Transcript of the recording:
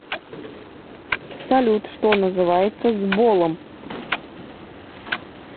салют что называется сболом